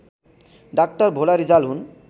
doctor Bhola Rijal हुन्